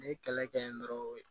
N'i ye kɛlɛ kɛ yen dɔrɔn